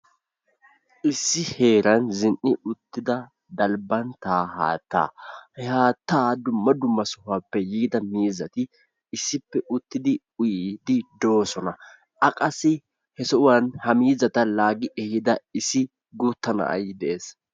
issi heeran zin'i uttida dalbbanttaa haattaa. he haatta dumma dumma sohuwaappe yiida miizzati issippe uttidi uyyiidi de'oosona. a qassi he sohuwaan he miizzata laaggi ehiida issi guutta na'ay de'ees.